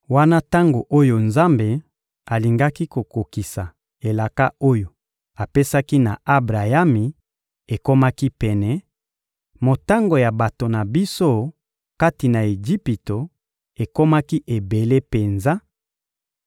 Wana tango oyo Nzambe alingaki kokokisa elaka oyo apesaki na Abrayami ekomaki pene, motango ya bato na biso, kati na Ejipito, ekomaki ebele penza,